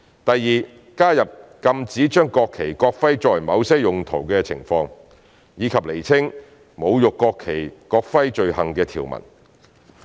第二，加入禁止將國旗、國徽作某些用途的情況，以及釐清侮辱國旗及國徽罪行的條文。